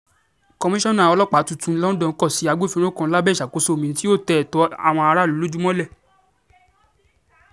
komisanna ọlọ́pàá tuntun londo kò sí agbófinró kan lábẹ́ ìṣàkóso mi tí yóò tẹ ẹ̀tọ́ àwọn aráàlú lójú mọ́lẹ̀